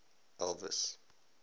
elvis